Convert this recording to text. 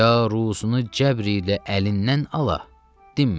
Ya ruzunu cəbr ilə əlindən ala, dinmə.